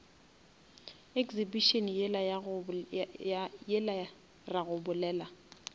exhibition yela ra go bolela